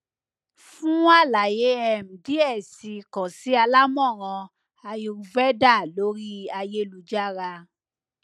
fun alaye um diẹ sii kan si alamọran ayurveda ori ayelujara